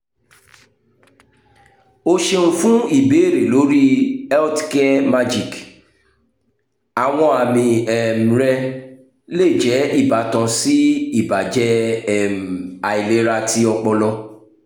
o ṣeun fun ibeere lori healthcaremagic!àwọn àmì um rẹ le jẹ ibatan si ibajẹ um ailera ti ọpọlọ